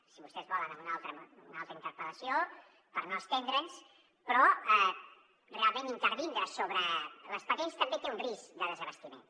si vostès volen en una altra interpel·lació per no estendren’s però realment intervindre sobre les patents també té un risc de desabastiment